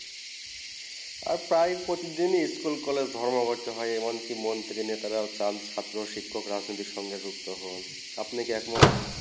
আর প্রায় প্রতিদিন school college ধর্মে পারছেন হয়ে এবং মন্ত্রী নেতা রা ছাত্র শিখ প্রথমে দিকে সুক্ত হন আপনি কি একমত